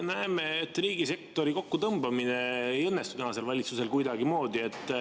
Näeme, et riigisektori kokkutõmbamine ei õnnestu tänasel valitsusel kuidagimoodi.